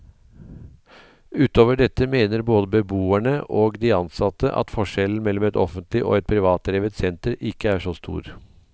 Utover dette mener både beboerne og de ansatte at forskjellen mellom et offentlig og et privatdrevet senter ikke er så stor.